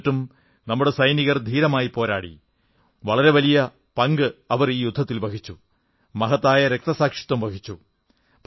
എന്നിട്ടും നമ്മുടെ സൈനികർ ധീരമായി പോരാടി വളരെ വലിയ പങ്കു വഹിച്ചു മഹത്തായ രക്തസാക്ഷിത്വംവഹിച്ചു